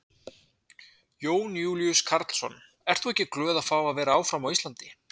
Jón Júlíus Karlsson: Ert þú ekki glöð að fá að vera áfram á Íslandi?